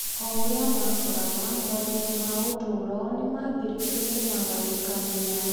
O ũrĩa maakũraga, moritũ ma ũtũũro nĩ maambĩrĩirie kũmagayũkania.